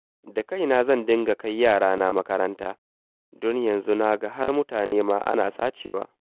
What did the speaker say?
Da kaina zan dinga kai yarana makaranta, don yanzu na ga har mutane ma ana sacewa